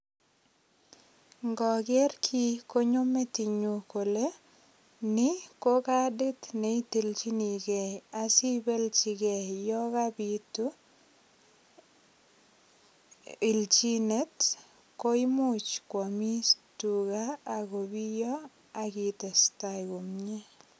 Ngoker kii konyo metinyu kole ni ko kadit ne itilchinigei asibelchi gei yokobitu ilchinet koimuch kwomis tuga ak kobiyo ak itestai komie.